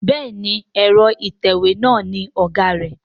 Béèni Ẹ̀rọ ìtẹ̀wé nla ní ọgá rà.